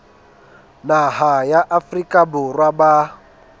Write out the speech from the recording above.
naha ya afrika borwa ba